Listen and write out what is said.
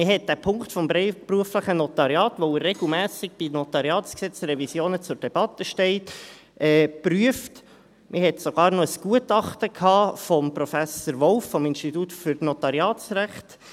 Man hat den Punkt des freiberuflichen Notariats, da er bei NG-Revisionen regelmässig zur Debatte steht, geprüft, man hatte sogar noch ein Gutachten von Professor Wolf vom Institut für Notariatsrecht.